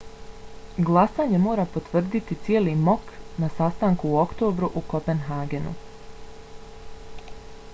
glasanje mora potvrditi cijeli mok na sastanku u oktobru u kopenhagenu